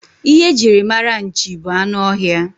Ihe e jiri mara nchi bụ anụ ọhịa.